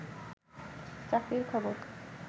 চাকরির খবর